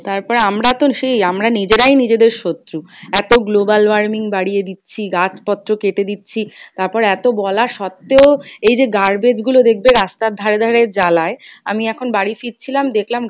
তারপরে আমরা তো সেই আমরা নিজেরাই নিজেদের শত্রু, এত global warming বারিয়ে দিচ্ছি গাছ পত্র কেটে দিচ্ছি তারপর এত বলা সত্বেও এইযে garbage গুলো দেখবে রাস্তার ধারে ধারে জ্বালায়, আমি এখন বাড়ি ফিরছিলাম দেখলাম